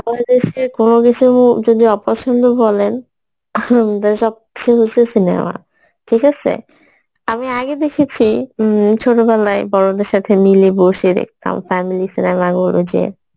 বাংলাদেশের কোনো কিসু মধ্যে যদি অপছন্দ বলেন ing সবচেয়ে বেশি cinema ঠিক আসে আমি আগে দেখেছি, উম ছোটোবেলায় বড়দের সাথে মিলে বসে দেখতাম family cinema গুলো যে,